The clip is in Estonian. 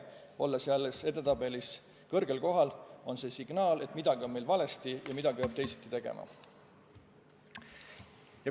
Olla selles edetabelis kõrgel kohal on signaal, et midagi on valesti ja midagi peab teisiti tegema.